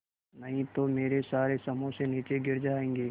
नहीं तो मेरे सारे समोसे नीचे गिर जायेंगे